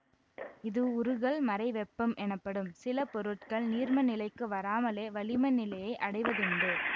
இது உருகல் மறைவெப்பம் எனப்படும் சில பொருட்கள் நீர்மநிலைக்கு வராமலே வளிம நிலையை அடைவதுண்டு